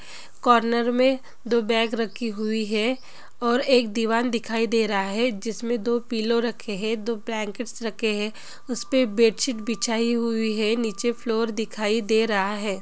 Corner मे दो bag रखी हुई है और एक दीवान दिखाई दे रहा है जिसमे दो पिलो रखे है दो बँकेट्स रखे है उसपे बेडशीट बिछाई हुई है नीचे फ्लोर दिखाई दे रहा है।